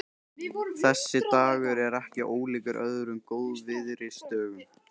Þessi dagur er ekki ólíkur öðrum góðviðrisdögum.